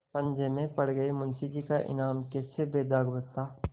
पंजे में पड़ कर मुंशीजी का ईमान कैसे बेदाग बचता